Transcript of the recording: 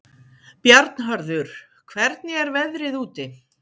Bjarnharður, hvernig er veðrið úti?